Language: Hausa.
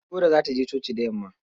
Deborah za ta je coci da yamma.